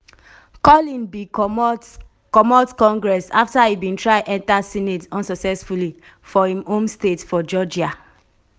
collin bin comot comot congress afta e bin try enta senate unsuccessfully for im home state for georgia.